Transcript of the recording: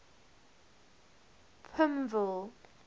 pimville